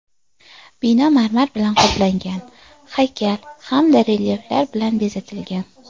Bino marmar bilan qoplangan, haykal hamda relyeflar bilan bezatilgan.